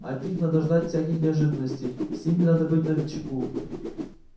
от них надо ждать всяких неожиданностей с ними надо быть начеку